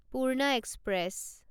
Purna express